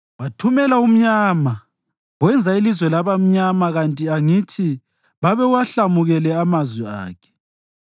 Wathumela umnyama wenza ilizwe laba mnyama kanti angithi babewahlamukele amazwi akhe?